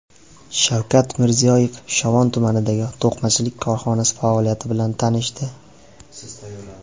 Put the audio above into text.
Shavkat Mirziyoyev Shovot tumanidagi to‘qimachilik korxonasi faoliyati bilan tanishdi.